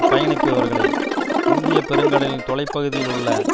பயணிப்பவர்களை இந்திய பெருங்கடலின் தொலைப்பகுதியில் உள்ள